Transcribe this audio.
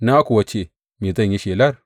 Na kuwa ce, Me zan yi shelar?